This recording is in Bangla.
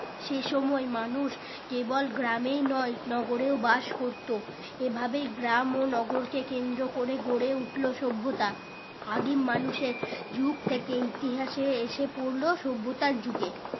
সে সময় মানুষ কেবল গ্রামেই নই নগরেও বাস করতো এই ভাবেই গ্রাম ও নগর কে কেন্দ্র করে গড়ে উঠলো সভ্যতা আদিম মানুষের যুগ থেকে ইতিহাসে এসে পড়লো সভ্যতার যুগে